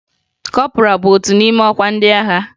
Kọpọraa bụ otu n'ime ọkwa ndị agha